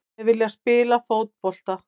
Þeir vilja spila fótbolta.